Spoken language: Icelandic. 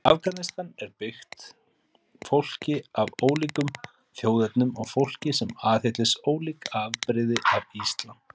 Afganistan er byggt fólki af ólíkum þjóðernum og fólki sem aðhyllist ólík afbrigði af islam.